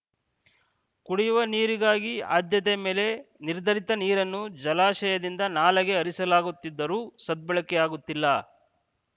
ಕುಡಿಯುವ ನೀರಿಗಾಗಿ ಆದ್ಯತೆ ಮೇಲೆ ನಿರ್ಧರಿತ ನೀರನ್ನು ಜಲಾಶಯದಿಂದ ನಾಲೆಗೆ ಹರಿಸಲಾಗುತ್ತಿದ್ದರೂ ಸದ್ಬಳಕೆಯಾಗುತ್ತಿಲ್ಲ